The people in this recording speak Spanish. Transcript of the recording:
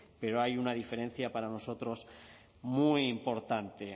pero hay una diferencia para nosotros muy importante